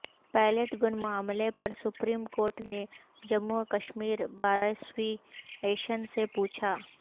pellet gun معاملہ پر supreme court نے جموں وکشمیر بارایسوسی ایشن سے پوچھا